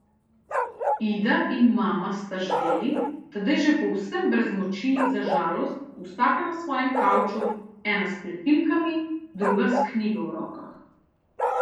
Ida in mama sta ždeli, tedaj že povsem brez moči za žalost, vsaka na svojem kavču, ena s pletilkami, druga s knjigo v rokah.